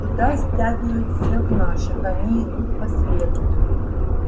туда стягивают всех наших они идут по следу